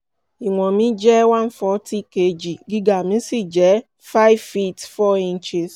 ìwọ̀n mi jẹ́ one forty kg gíga mi sì jẹ́ five feet four inches